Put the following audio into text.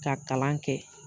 Ka kalan kɛ